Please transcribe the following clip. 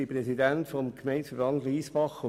Ich bin Präsident des Gemeindeverbands Lyssbach.